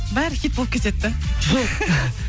бәрі хит болып кетеді да